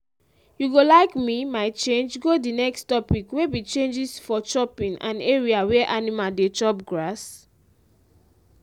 you go like me my change go the next topic wey be changes for chopping and area where animal dey chop grass?